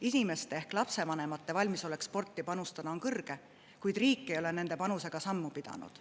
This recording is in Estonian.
Inimeste ehk lapsevanemate valmisolek sporti panustada on kõrge, kuid riik ei ole nende panusega sammu pidanud.